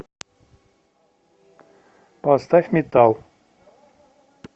поставь метал